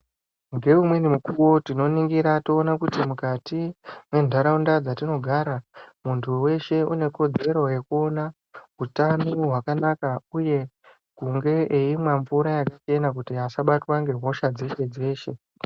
Ngeumweni mukuwo tikaningira tinoona kuti mukati mwentaraunda dzatinogara, muntu weshe une kodzero yekuona utano hwakanaka, uye kunge eimwa mvura yakachena kuti asabatwa ngehosha dzeshe-dzeshe.